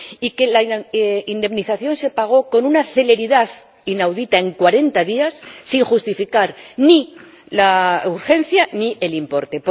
y que la indemnización se pagó con una celeridad inaudita ―en cuarenta días― sin justificar ni la urgencia ni el importe.